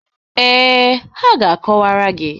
Ee, ha ga-akọwara anyị.